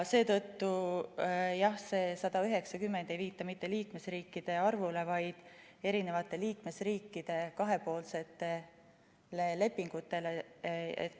Seetõttu see 190 ei viita mitte liikmesriikide arvule, vaid liikmesriikide kahepoolsetele lepingutele.